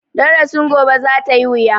Darasin gobe za ta yi wuya.